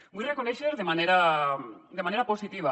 vull reconèixer de manera positiva